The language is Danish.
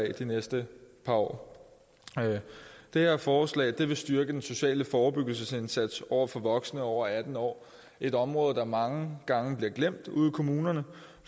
af de næste par år det her forslag vil styrke den sociale forebyggelsesindsats over for voksne over atten år et område der mange gange bliver glemt ude i kommunerne